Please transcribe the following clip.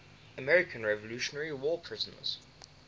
american revolutionary war prisoners